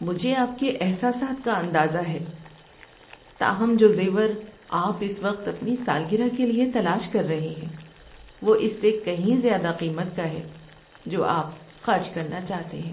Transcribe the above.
مجھے آپ کے احساسات کا اندازہ ہے، تاہم جو زیور آپ اس وقت اپنی سالگرہ کے لیے تلاش کر رہے ہیں وہ اس سے کہیں زیادہ قیمت کا ہے جو آپ خرچ کرنا چاہتے ہیں۔